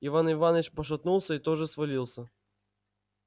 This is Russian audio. иван иваныч пошатнулся и тоже свалился